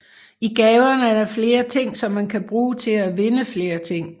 I gaverne er der flere ting som man kan bruge til at vinde flere ting